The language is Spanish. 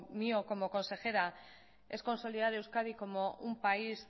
mío como consejera es consolidar euskadi como un país